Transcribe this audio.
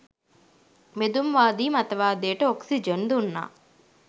බෙදුම්වාදී මතවාදයට ඔක්සිජන් දුන්නා.